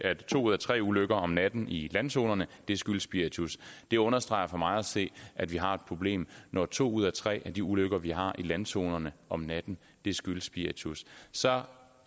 to ud af tre ulykker om natten i landzonerne skyldes spiritus det understreger for mig at se at vi har et problem når to ud af tre af de ulykker vi har i landzonerne om natten skyldes spiritus så